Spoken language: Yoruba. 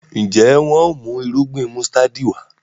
njé wón mú Irúgbìn músítádì Wá?